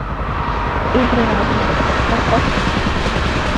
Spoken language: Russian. игры разумов поставь